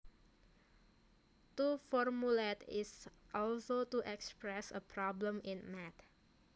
To formulate is also to express a problem in math